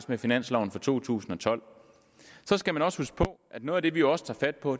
med finansloven for to tusind og tolv så skal man også huske på at noget af det vi også tager fat på